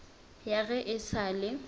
ya ge e sa le